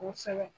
Kosɛbɛ